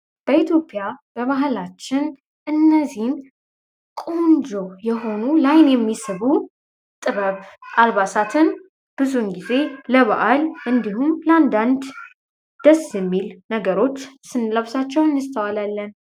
በኢትዮጵያ በመህላችን እነዚህም ቆንጆ የሆኑ ላይን የሚስቡ ጥበብ አባሳትን ብዙን ጊዜ ለባዓል እንዲሁም ላንዳንድ ደስሚል ነገሮች ስንለብሳቸው እንስተዋላለን።